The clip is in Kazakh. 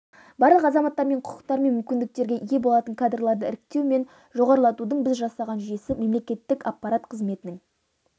барлық азаматтар тең құқықтар мен мүмкіндіктерге ие болатын кадрларды іріктеу мен жоғарылатудың біз жасаған жүйесі мемлекеттік аппарат қызметінің